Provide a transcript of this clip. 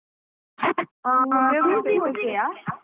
ಆ ಆ ಆ ರೂಬಿ okay ಯ?